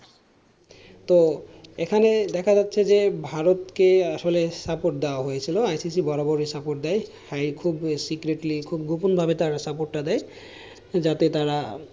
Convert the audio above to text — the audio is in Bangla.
তো এখানে দেখা যাচ্ছে যে ভারতকে আসলে support দেয়া হয়েছিল ICC বরাবরই support দেয়। high secretly খুব গোপন ভাবে তারা support দেয়। যাতে তারা,